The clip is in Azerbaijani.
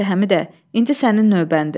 Yaxşı, Həmidə, indi sənin növbəndir.